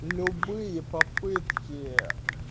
любые попытки